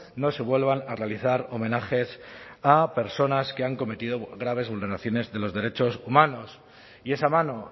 no se vuelvan a realizar homenajes a personas que han cometido graves vulneraciones de los derechos humanos y esa mano